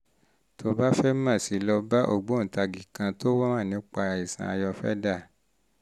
tó o bá fẹ́ mọ̀ sí i lọ bá ògbóǹtagì kan tó mọ̀ nípa àìsàn ayurveda